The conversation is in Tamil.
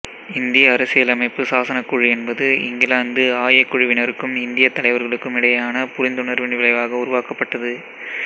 இந்திய அரசியலமைப்பு சாசனக் குழு என்பது இங்கிலாந்து ஆய குழுவினருக்கும் இந்தியத் தலைவர்களுக்கும் இடையேயான புரிந்துணர்வின் விளைவாக உருவாக்கப்பட்டது